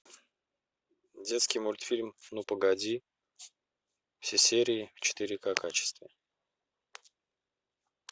детский мультфильм ну погоди все серии в четыре ка качестве